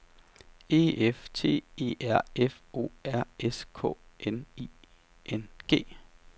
E F T E R F O R S K N I N G